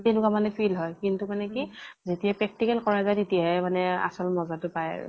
তেকেনুৱা মানে feel হয়। কিন্তু মানে কি যেতিয়াই practical যায় তেতিয়াহে মানে আচল মজে টো পায়।